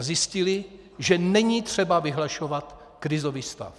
A zjistili, že není třeba vyhlašovat krizový stav.